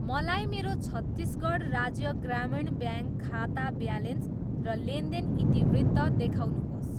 मलाई मेरो छत्तिसगढ राज्य ग्रामीण ब्याङ्क खाता ब्यालेन्स र लेनदेन इतिवृत्त देखाउनुहोस्।